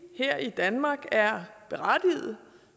her i danmark er berettiget